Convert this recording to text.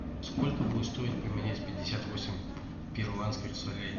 сколько будет стоить поменять пятьдесят восемь перуанских солей